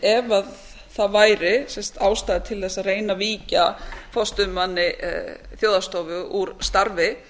ef það væri ástæða til þess að reyna að víkja forstöðumanni þjóðhagsstofu úr starfi